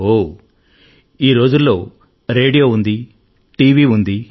ఓహ్ ఈ రోజులలో రేడియో ఉంది టీవీ ఉంది